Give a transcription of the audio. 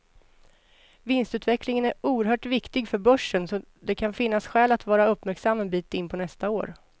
Vinstutvecklingen är oerhört viktig för börsen, så det kan finnas skäl att vara uppmärksam en bit in på nästa år.